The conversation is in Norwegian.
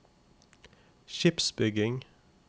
skipsbygging